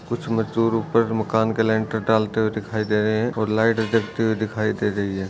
कुछ मजदूर ऊपर मकान के लेटर डालते हुए दिखाई दे रहे है और लाइट जगती हुई दिखाई दे रही है।